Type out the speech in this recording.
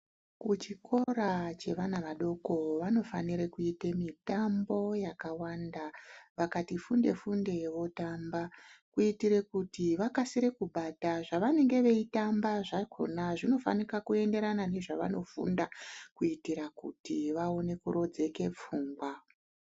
Kuchikora chevana vadoko vanofanire kuita mitambo yakawanda, vakati funde funde votamba kuitire kuti vakasire kubata zvavanenge veitamba zvakona zvinofanika kuendera nezvavanofunda kuitira kuti vaone kurodzeke pfungwa.